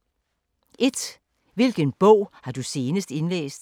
1) Hvilken bog har du senest indlæst?